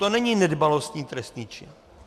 To není nedbalostní trestný čin.